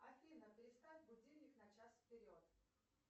афина переставь будильник на час вперед